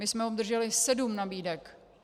My jsme obdrželi sedm nabídek.